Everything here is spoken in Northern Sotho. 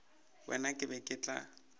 wena ke be ke tla